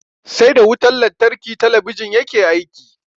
Sai da wutan lantarki talabijin yake aiki.